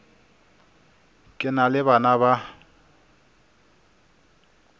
ke na le bana ba